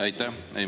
Aitäh!